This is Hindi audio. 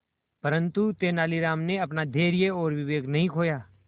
परंतु तेलानी राम ने अपना धैर्य और विवेक नहीं खोया